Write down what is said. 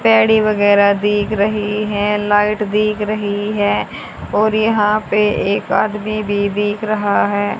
पेड़ी वगैरा दिख रही हैं लाइट दिख रही हैं और यहां पे एक आदमी भी दिख रहा है।